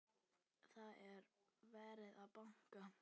Það er verið að banka!